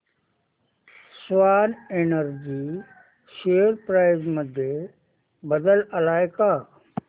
Swan Energy share price मध्ये बदल आलाय का